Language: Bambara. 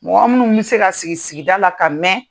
Mɔgɔ minnu bɛ se ka sigi sigida la ka mɛn